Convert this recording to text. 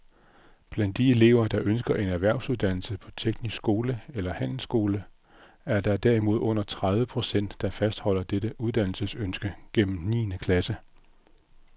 Blandt de elever, der ønsker en erhvervsuddannelse på teknisk skole eller handelsskole, er der derimod under tredive procent, der fastholder dette uddannelsesønske gennem niende klasse.